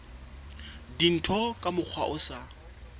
dintho ka mokgwa o sa